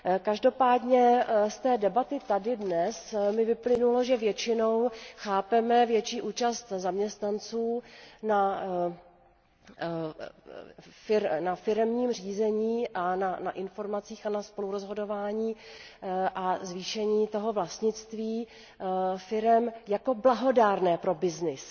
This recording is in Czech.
Každopádně z té dnešní debaty mi vyplynulo, že většinou chápeme větší účast zaměstnanců na firemním řízení a na informacích a na spolurozhodování a zvýšení toho vlastnictví firem jako blahodárné pro byznys.